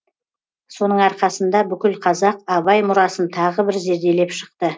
соның арқасында бүкіл қазақ абай мұрасын тағы бір зерделеп шықты